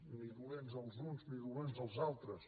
ni dolents els uns ni dolents els altres